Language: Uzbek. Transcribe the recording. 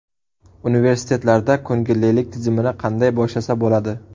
Universitetlarda ko‘ngillilik tizimini qanday boshlasa bo‘ladi?.